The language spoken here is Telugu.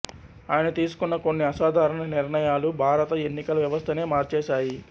ఆయన తీసుకున్న కొన్ని అసాధారణ నిర్ణయాలు భారత ఎన్నికల వ్యవస్థనే మార్చేశాయి